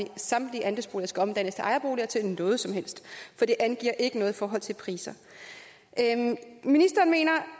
at samtlige andelsboliger skal omdannes til ejerboliger til noget som helst for det angiver ikke noget i forhold til priser ministeren mener